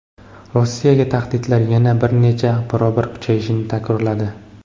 Rossiyaga tahdidlar yana bir necha barobar kuchayishini takrorladi.